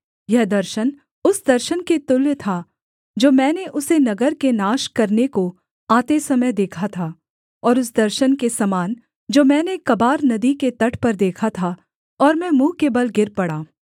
यह दर्शन उस दर्शन के तुल्य था जो मैंने उसे नगर के नाश करने को आते समय देखा था और उस दर्शन के समान जो मैंने कबार नदी के तट पर देखा था और मैं मुँह के बल गिर पड़ा